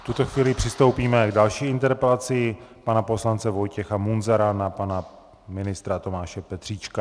V tuto chvíli přistoupíme k další interpelaci - pana poslance Vojtěcha Munzara na pana ministra Tomáše Petříčka.